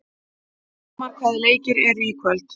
Bjarmar, hvaða leikir eru í kvöld?